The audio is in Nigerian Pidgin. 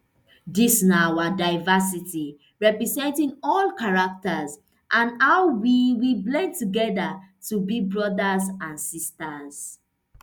dis na our diversity representing all characters and how we we blend togeda to be brodas and sisters